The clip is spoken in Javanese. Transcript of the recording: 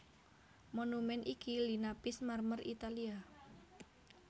Monumèn iki linapis marmer Italia